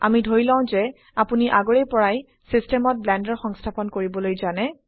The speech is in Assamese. আমি ধৰি লও যে আপোনি আগৰে পৰাই সিস্টেমত ব্লেন্ডাৰ সংস্থাপন কৰিবলৈ জানে